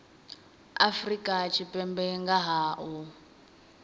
afrika tshipembe nga ha u